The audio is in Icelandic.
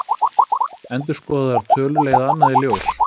Endurskoðaðar tölur leiða annað í ljós